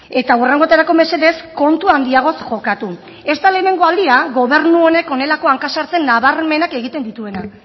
eta hurrengotarako mesedez kontu handiagoz jokatu ez da lehenengo aldia gobernu honek honelako hanka sartze nabarmenak egiten dituena